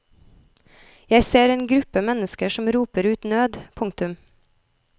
Jeg ser en gruppe mennesker som roper ut nød. punktum